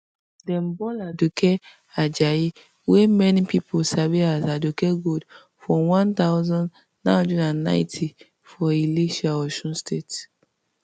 dem born aduke ajayi wey many pipo sabi as aduke gold for one thousand, nine hundred and ninety for ilesha osun state